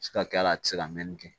Se ka kɛ a la a tɛ se ka mɛnni kɛ